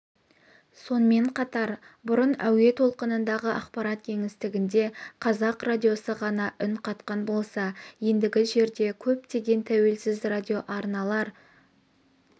сонымен қатар бұрын әуе толқынындағы ақпарат кеңістігінде қазақ радиосы ғана үн қатқан болса ендігі жерде көптеген тәуелсіз радиоарналар